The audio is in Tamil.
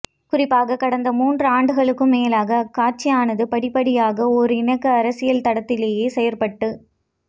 குறிப்பாக கடந்த மூன்றாண்டுகளுக்கும் மேலாக அக்கட்சியானது படிப்படியாக ஓர் இணக்க அரசியல் தடத்திலேயே செயற்பட்டு